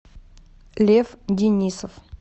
лев денисов